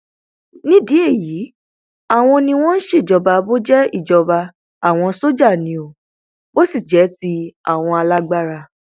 nídìí èyí àwọn ni wọn ń ṣèjọba bó jẹ ìjọba àwọn sójà ni ò bó sì jẹ ti àwọn alágbárà